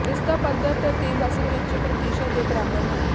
ਇਸ ਦਾ ਪੱਧਰ ਤਬਦੀਲ ਅਸਲ ਵਿੱਚ ਪ੍ਰਤੀਸ਼ਤ ਦੇ ਬਰਾਬਰ ਹੈ